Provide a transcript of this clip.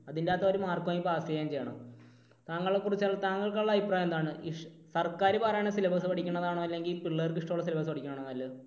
അതിൻറെ അകത്ത് അവർ mark വാങ്ങി pass ചെയ്യുകയും ചെയ്യണം. താങ്കളെ കുറിച്ച്, താങ്കൾക്കുള്ള അഭിപ്രായം എന്താണ്? സർക്കാർ പറയുന്ന syllabus പഠിക്കുന്നത് ആണോ അതോ പിള്ളേർക്ക് ഇഷ്ടമുള്ള syllabus പഠിക്കുന്നതാണോ നല്ലത്?